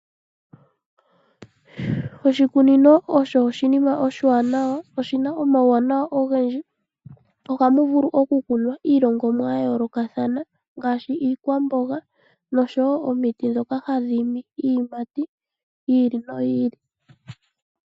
Oshikunino osho oshinima oshiwanawa oshina omawuwanawa ogendji. Ohamu vulu okukunwa ilongomwa yayoloka thana ngaashi iikwamboga noshowo omiti dhoka dhiimi iiyimati yiili no yili.